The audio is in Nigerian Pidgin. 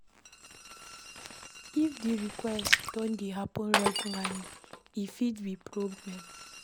If di request don dey happen regularly, e fit be problem